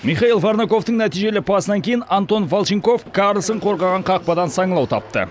михаил варнаковтың нәтижелі пасынан кейін антон волченков карллсон қорғаған қақпадан саңылау тапты